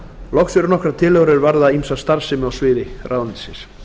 loks eru nokkrar tillögur er varða ýmsa starfsemi á sviði ráðuneytisins